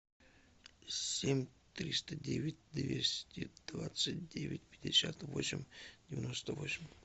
семь триста девять двести двадцать девять пятьдесят восемь девяносто восемь